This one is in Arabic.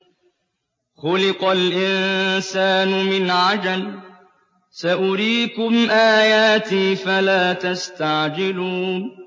خُلِقَ الْإِنسَانُ مِنْ عَجَلٍ ۚ سَأُرِيكُمْ آيَاتِي فَلَا تَسْتَعْجِلُونِ